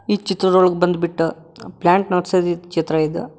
ಈ ಚಿತ್ರದೊಳಗ್ ಬಂದ್ಬಿಟ್ಟು ಪ್ಲಾಂಟ್ ನರ್ಸರಿ ಚಿತ್ರ ಇದು.